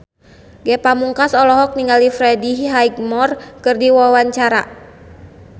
Ge Pamungkas olohok ningali Freddie Highmore keur diwawancara